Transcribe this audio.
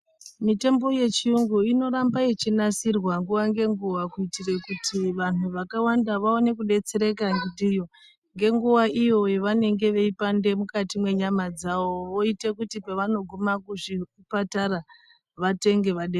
Mitombo yechiyungu inoramba yechinasirwa nguwa ngenguwa kuitire kuti vantu vakawanda vaone kudetsereka ndiyo ngenguwa iyo yavanenge veipande mukati menyama dzawo, weita kuti pavanogume kuzvipatara vatenge vadetserwe.